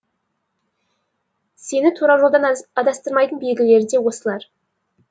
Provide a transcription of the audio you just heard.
сені тура жолдан адастырмайтын белгілер де осылар